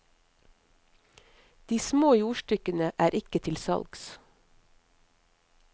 De små jordstykkene er ikke til salgs.